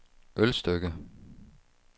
Ølstykke